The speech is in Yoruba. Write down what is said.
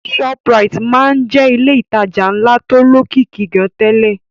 Shoprite máa ń jẹ́ ilé ìtajà ńlá tó lókìkí gan-an tẹ́lẹ̀